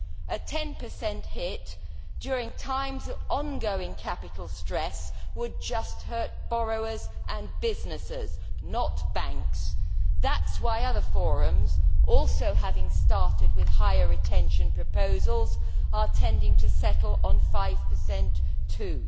A 10 hit during times of ongoing capital stress would just hurt borrowers and businesses, not banks. That is why other forums also having started with higher retention proposals are tending to settle on 5 too.